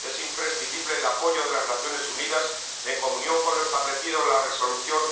Es imprescindible el apoyo de las Naciones Unidas, en comunión con lo establecido en la Resolución